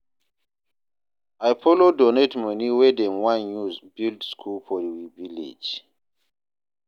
I follow donate moni wey dem wan use build skool for we village.